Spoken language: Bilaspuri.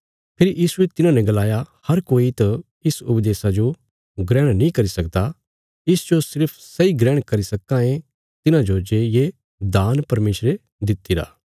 फेरी यीशुये तिन्हांने गलाया हर कोई त इस उपदेशा जो ग्रहण नीं करी सकदा इसजो सिर्फ सैई ग्रहण करी सक्कां ये तिन्हाजो जे ये दान परमेशरे दित्तिरा